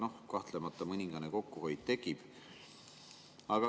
No kahtlemata mõningane kokkuhoid tekib.